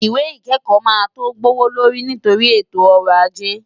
Ìwé ìkẹ́kọ̀ọ́ máa tó gbówó lórí nítorí ètò ọrọ̀ ajé.